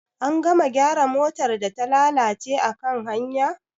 An gama gyara motar da ta lalace akan hanya?